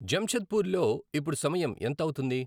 జంషేధ్పూ ర్లో ఇప్పుడు సమయం ఎంత అవుతుంది